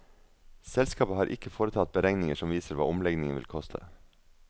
Selskapet har ikke foretatt beregninger som viser hva omleggingen vil koste.